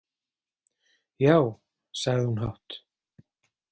Já, sagði hún hátt.